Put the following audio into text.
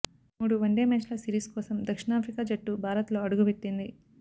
మూడు వన్డే మ్యాచ్ల సిరీస్ కోసం దక్షిణాఫ్రికా జట్టు భారత్లో అడుగుపెట్టింది